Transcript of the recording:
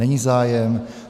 Není zájem.